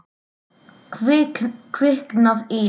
Kviknað í.